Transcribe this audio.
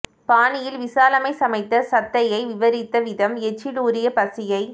பாணியில் விசாலம்மை சமைத்த சத்யயை விவரித்த விதம் எச்சில் ஊறி பசியை